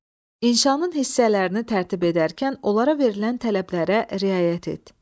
İnşanın hissələrini tərtib edərkən onlara verilən tələblərə riayət et.